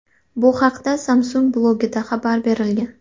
Bu haqda Samsung blogida xabar berilgan .